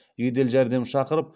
жедел жәрдем шақырып